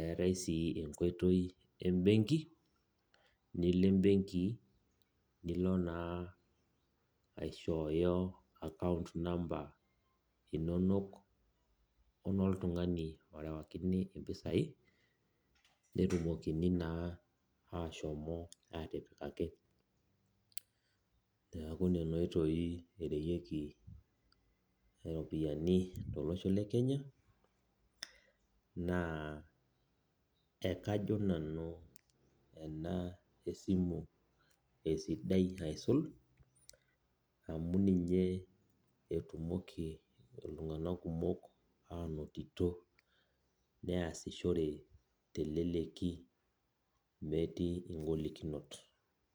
eetae si enkoitoi embenki nilo na aishooyo account number enoltungani orewakini mpisai netumoki na ashomo atipikaki olchani neaku nona oitoi ereweki ropiyani tolosho le kenya na ekajo nanu ena esimu esidai aisul amu ninye etumoki ltunganak kumok ainoto neasishore teleleki metii enyamali.